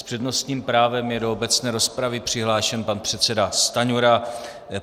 S přednostním právem je do obecné rozpravy přihlášen pan předseda Stanjura.